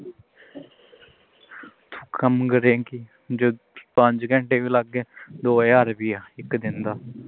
ਕੰਮ ਕਰੇਂਗੀ ਕੰਮ ਕਰੇਂਗੀ ਪੰਜ ਘੰਟੇ ਵੀ ਲਾ ਗਏ ਦੋ ਹਜ਼ਾਰ ਰੁਪਈਆ ਇਕ ਦਿਨ ਦਾ